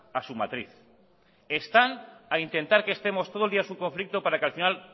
a su matriz están a intentar que estemos todo el día en su conflicto para que al final